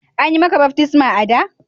An yi maka baftisma a'da?